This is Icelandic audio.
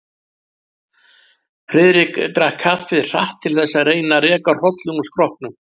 Friðrik drakk kaffið hratt til þess að reyna að reka hrollinn úr skrokknum.